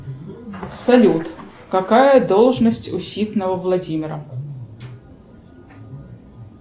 салют какая должность у ситного владимира